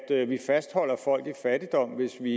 at vi fastholder folk i fattigdom hvis vi